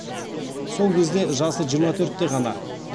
сол кезде жасы жиырма төртте ғана